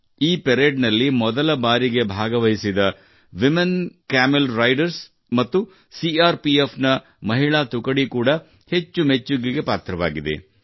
ಈ ಪರೇಡ್ನಲ್ಲಿ ಮೊದಲ ಬಾರಿಗೆ ಭಾಗವಹಿಸಿದ ಸಿಆರ್ಪಿಎಫ್ನ ಮಹಿಳಾ ತುಕಡಿ ಕೂಡ ಹೆಚ್ಚು ಮೆಚ್ಚುಗೆಗೆ ಪಾತ್ರವಾಗಿದೆ